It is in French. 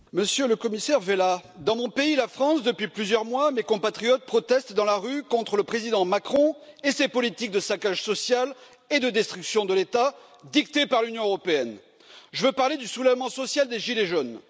Madame la Présidente, Monsieur le Commissaire Vella, dans mon pays, la France, depuis plusieurs mois, mes compatriotes protestent dans la rue contre le président Macron et ses politiques de saccage social et de destruction de l'État, dictées par l'Union européenne je veux parler du soulèvement social des gilets jaunes.